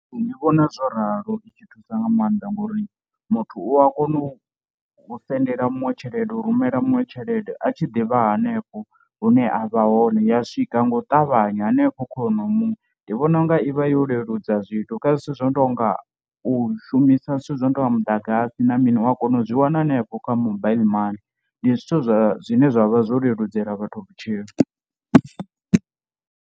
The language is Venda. Ndi vhona zwo ralo i tshi thusa nga maanḓa ngori muthu u a kona u sendela muṅwe tshelede u rumela muṅwe tshelede a tshi ḓivha hanefho hune avha hone ya swika nga u ṱavhanya hanefho kha honoyo muthu. Ndi vhona unga ivha yo leludza zwithu kha zwithu zwo no tonga u shumisa zwithu zwi no tonga muḓagasi na mini u a kona u zwi wana hanefho kha mobile money, ndi zwithu zwa zwine zwa vha zwo leludzela vhathu vhutshilo.